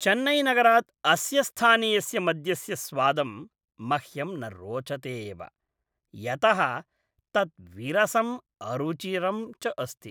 चेन्नैनगरात् अस्य स्थानीयस्य मद्यस्य स्वादं मह्यं न रोचते एव, यतः तत् विरसम् अरुचिरं च अस्ति।